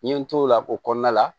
N ye n t'o la o kɔnɔna la